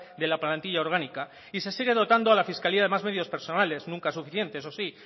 de la plantilla orgánica y se sigue dotando a la fiscalía de más medios personales nunca suficientes eso sí